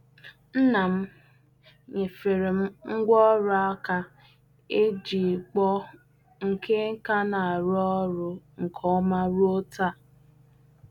Nna m nyefere m ngwaọrụ aka e ji kpụọ nke ka na-arụ ọrụ nke ọma ruo taa.